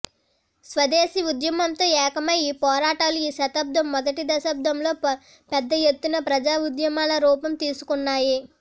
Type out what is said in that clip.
స్వదేశీ ఉద్యమంతో ఏకమై ఈ పోరాటాలు ఈ శతాబ్దం మొదటి దశాబ్దంలో పెద్ద ఎత్తున ప్రజా ఉద్యమాల రూపం తీసుకున్నాయి